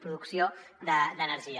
producció d’energia